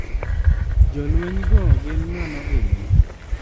Jolweny go gin ng'ano gini?